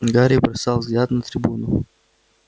гарри бросал взгляд на трибуну